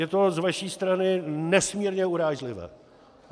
Je to z vaší strany nesmírně urážlivé.